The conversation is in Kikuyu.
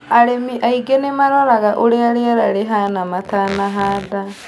Arĩmi aingi nĩmaroraga ũrĩa rĩera rĩhana matanahanda